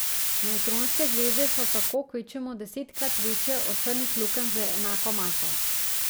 Nevtronske zvezde so tako kvečjemu desetkrat večje od črnih lukenj z enako maso.